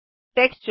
texture